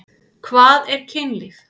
Hvað er kynlíf?